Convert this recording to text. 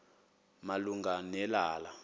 malunga ne lala